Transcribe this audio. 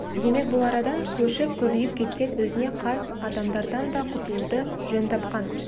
демек бұл арадан көшіп көбейіп кеткен өзіне қас адамдардан да құтылуды жөн тапқан